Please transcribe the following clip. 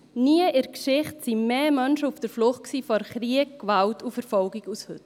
Nie zuvor in der Geschichte waren mehr Menschen auf der Flucht vor Krieg, Gewalt und Verfolgung als heute.